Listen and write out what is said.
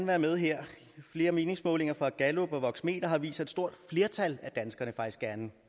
være med her flere meningsmålinger fra gallup og voxmeter har vist at et stort flertal af danskerne faktisk gerne